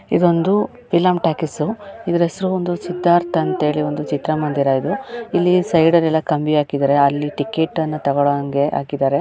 ಇದೊಂದು film talkies . ಇದರ ಹೆಸರು ಒಂದು ಸಿದ್ಧಾರ್ಥ್ ಅಂತ ಹೇಳಿ ಚಿತ್ರಮಂದಿರ ಇದು. ಇಲ್ಲಿ ಸೈಡಲ್ಲೆಲ್ಲ ಕಂಬಿ ಹಾಕಿದ್ದಾರೆ ಅಲ್ಲಿ ಟಿಕೆಟ್ ಅನ್ನು ತಗೋಳೋ ಹಂಗೆ ಹಾಕಿದ್ದಾರೆ.